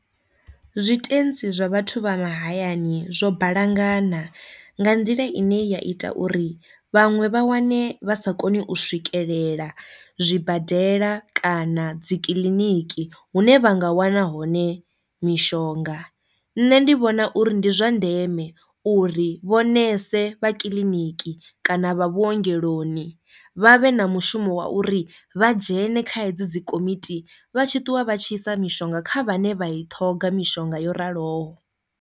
Zwitentsi zwa vhathu vha mahayani zwo balangana nga nḓila ine ya ita uri vhaṅwe vha wane vha sa koni u swikelela zwibadela kana dzikiḽiniki hune vha nga wana hone mishonga. Nṋe ndi vhona uri ndi zwa ndeme uri vho ṋese vha kiḽiniki kana vha vhuongeloni vha vhe na mushumo wa uri vha dzhene kha hedzi dzi komiti vha tshi ṱuwa vha tshi isa mishonga kha vhane vha i ṱhoga mishonga yo raloho.